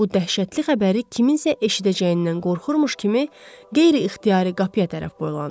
Bu dəhşətli xəbəri kiminsə eşidəcəyindən qorxurmuş kimi qeyri-ixtiyari qapıya tərəf boylandı.